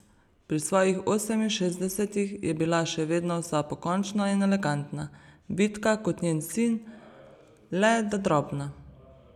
Pri svojih oseminšestdesetih je bila še vedno vsa pokončna in elegantna, vitka kot njen sin, le da drobna.